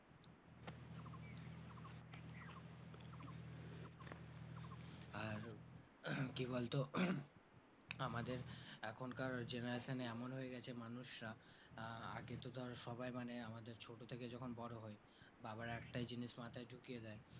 আর কি বল তো আমাদের এখনকার generation এ এমন হয়ে গেছে মানুষরা আহ আগে তো ধর সবাই মানে আমাদের ছোটো থেকে যখন বড়ো হয় বাবার একটাই জিনিস মাথায় ঢুকিয়ে দেয়